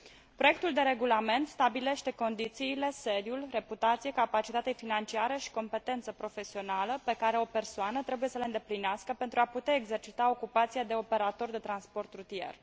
Proiectul de regulament stabilește condițiile, sediul, reputația, capacitatea financiară și competența profesională pe care o persoană trebuie să le îndeplinească pentru a putea exercita ocupația de operator de transport rutier.